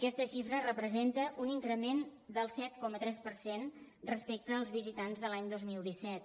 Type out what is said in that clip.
aquesta xifra representa un increment del set coma tres per cent respecte als visitants de l’any dos mil disset